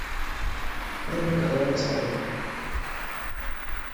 рубрика давай посмотрим